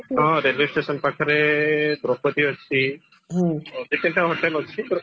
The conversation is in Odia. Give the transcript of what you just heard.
ହଁ railway station ପାଖେରେ hotel ଅଛି ଦି ତିନଟା ହୋଟେଲ ଅଛି